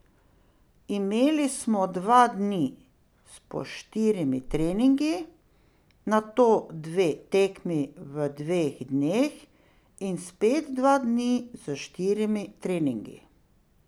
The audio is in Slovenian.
Imeli smo dva dni s po štirimi treningi, nato dve tekmi v dveh dneh in spet dva dni s štirimi treningi.